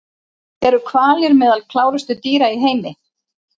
Eru hvalir meðal klárustu dýra í heimi?